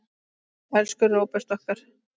Elsku Róbert okkar.